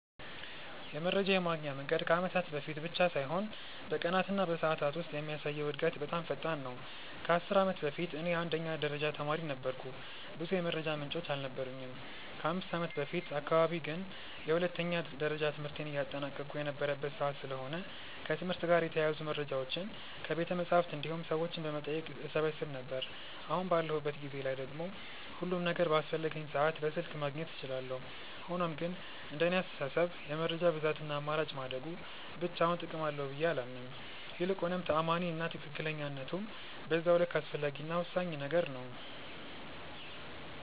የመረጃ የማግኛ መንገድ ከአመታት በፊት ብቻ ሳይሆን በቀናት እና በሰዓታት ውስጥ የሚያሳየው እድገት በጣም ፈጣን ነው። ከ10 አመት በፊት እኔ የአንደኛ ደረጃ ተማሪ ነበርኩ ብዙ የመረጃ ምንጮች አልነበሩኝም። ከ5ከአመት በፊት አካባቢ ግን የሁለተኛ ደረጃ ትምህርቴን እያጠናቀቅሁ የነበረበት ሰዓት ስለሆነ ከትምህርት ጋር የተያያዙ መረጃዎችን ከቤተመፅሀፍት እንዲሁም ሰዎችን በመጠየቅ እሰበስብ ነበር። አሁን ባለሁበት ጊዜ ላይ ደግሞ ሁሉም ነገር በአስፈለገኝ ሰዓት በስልክ ማግኘት እችላለሁ። ሆኖም ግን እንደኔ አስተሳሰብ የመረጃ ብዛት እና አማራጭ ማደጉ ብቻውን ጥቅም አለው ብዬ አላምንም። ይልቁንም ተአማኒ እና ትክክለኝነቱም በዛው ልክ አስፈላጊ እና ወሳኝ ነገር ነው።